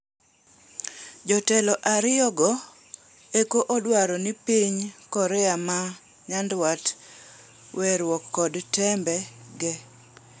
Jotelo ariyo go eko odwaro ni piny Korea ma nyandwat weruok kod tembe ge.